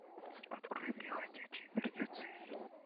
открой мне ходячие мертвецы